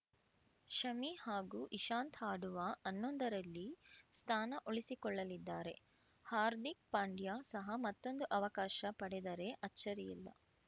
ಶಮಿ ಹಾಗೂ ಇಶಾಂತ್‌ ಆಡುವ ಹನ್ನೊಂದರಲ್ಲಿ ಸ್ಥಾನ ಉಳಿಸಿಕೊಳ್ಳಲಿದ್ದಾರೆ ಹಾರ್ದಿಕ್‌ ಪಾಂಡ್ಯ ಸಹ ಮತ್ತೊಂದು ಅವಕಾಶ ಪಡೆದರೆ ಅಚ್ಚರಿಯಿಲ್ಲ